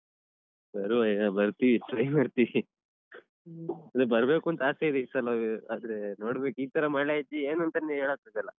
ಬರುವ ಏನ್ ಬರ್ತಿವಿ try ಮಾಡ್ತೀವಿ ಇಲ್ಲ ಬರ್ಬೇಕೂಂತ ಆಸೆ ಇದೆ ಈ ಸಲವೂ ಆದ್ರೇ ನೋಡ್ಬೇಕ್ ಈತರ ಮಳೆ ಇದ್ದು ಏನೂಂತಾನೂ ಹೇಳಕ್ಕಾಗಲ್ಲ.